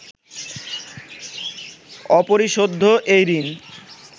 অপরিশোধ্য এই ঋণ